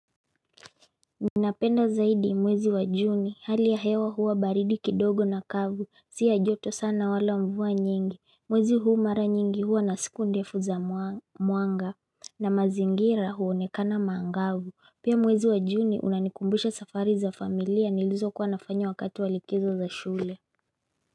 Ninapenda zaidi mwezi wa juni hali ya hewa huwa baridi kidogo na kavu si ya joto sana wala mvua nyingi mwezi huu mara nyingi huwa na siku ndefu za mwanga na mazingira huonekana maangavu pia mwezi wa juni unanikumbusha safari za familia nilizo kuwanafanya wakati walikizo za shule.